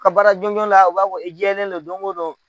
Ka baara jɔnjɔn la u b'a fɔ i jɛlen no don o don.